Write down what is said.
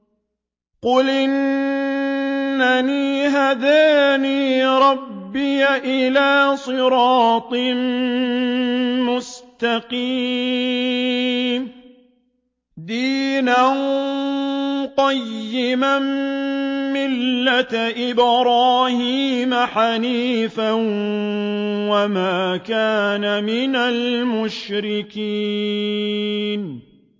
قُلْ إِنَّنِي هَدَانِي رَبِّي إِلَىٰ صِرَاطٍ مُّسْتَقِيمٍ دِينًا قِيَمًا مِّلَّةَ إِبْرَاهِيمَ حَنِيفًا ۚ وَمَا كَانَ مِنَ الْمُشْرِكِينَ